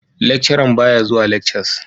Lecturern baya zuwa lekcas.